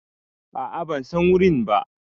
A a ban San wuri ba.